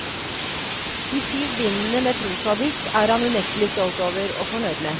De syv bindene med prosadikt er han unektelig stolt over, og fornøyd med.